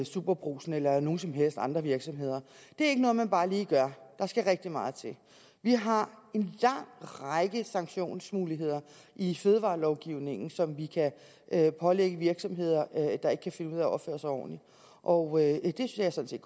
superbrugsen eller nogen som helst andre virksomheder det er ikke noget man bare lige gør der skal rigtig meget til vi har en lang række sanktionsmuligheder i fødevarelovgivningen som vi kan pålægge virksomheder der ikke kan finde ud af at opføre sig ordentligt og det er jeg sådan